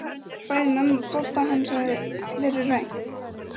Bæði mömmu og pabba hans hafði verið rænt.